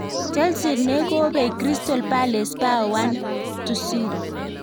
Chelsea ne kobey Cyrstal Palace bao 1-0.